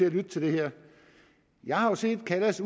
at lytte til det her jeg har jo set at kallas